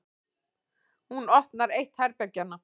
Hún opnar eitt herbergjanna.